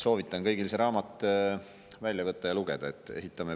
Soovitan kõigil see raamat välja võtta ja seda lugeda.